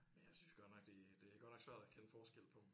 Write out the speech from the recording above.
Men jeg synes godt nok det det er godt nok svært at kende forskel på dem